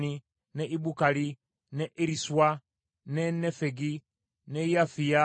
ne Ibukali, ne Eriswa, ne Nefegi, ne Yafiya,